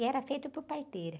E era feito por parteira.